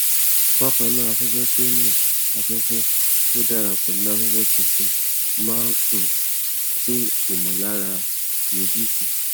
bákan náà afẹfẹ tó náà afẹfẹ tó dára pẹlú afẹfẹ tuntun máa ń um dín ìmọlára eebi kù